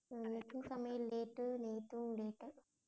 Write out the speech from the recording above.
இன்னைக்கும் சமையல் late உ நேத்தும் late உ